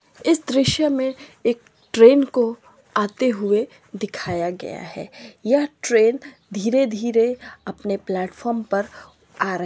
--दृश्य में एक ट्रैन को आते हुए दिखाया गया है यह ट्रैन धीरे धीरे अपने प्लेटफार्म पर आ रही है।